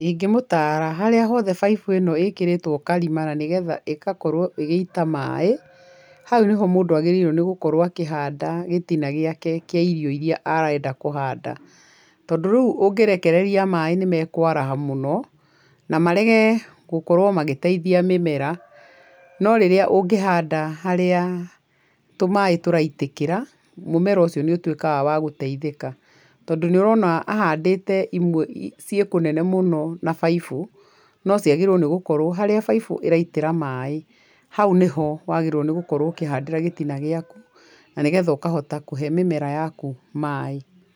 Ingĩmũtara harĩa hothe baibũ ĩno ĩkĩrĩtwo karima na nĩgetha ĩgakorwo ĩgĩita maĩ, hau nĩho mũndũ agĩrĩrwo nĩ gũkorwo akĩhanda gĩtina gĩake kĩa irio irĩa arenda kũhanda, tondũ rĩu ũngĩrekereria maĩ nĩ mekwaraha mũno, na marege gũkorwo magĩteithia mĩmera, no rĩrĩa ũngĩhanda harĩa tũmaĩ tũraitĩkĩra, mũmera ũcio nĩ ũtuĩkaga wa gũteithĩka, tondũ nĩ ũrona ahandĩte imwe ciĩkũnene mũno na baibũ, no ciagĩrĩrwo nĩgũkorwo harĩa baibu ĩraitĩra maĩ, hau nĩho wagĩrĩrwo nĩ gũkorwo ũkĩhandĩra gĩtina gĩaku, na nĩgetha ũkahota kũhe mĩmera yaku maĩ.